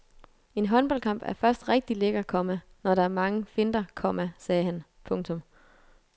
En håndboldkamp er først rigtig lækker, komma når der er mange finter, komma sagde han. punktum